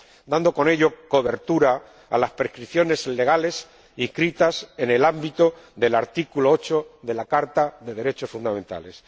dando con ello cobertura a las prescripciones legales inscritas en el ámbito del artículo 8 de la Carta de los Derechos Fundamentales.